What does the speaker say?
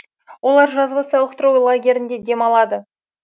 олар жазғы сауықтыру лагерінде демалады